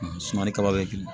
Suman ni kaba be